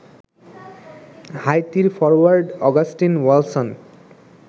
হাইতির forward Augustin ওয়ালসন